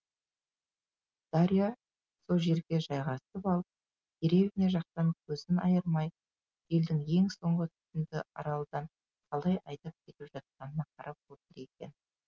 дарья со жерге жайғасып алып деревня жақтан көзін айырмай желдің ең соңғы түтінді аралдан қалай айдап кетіп жатқанына қарап отыр екен